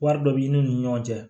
Wari dɔ b'i n'u ni ɲɔgɔn cɛ